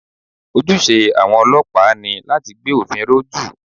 Ojúṣe àwọn ọlọ́pàá ni láti gbé òfin ró jù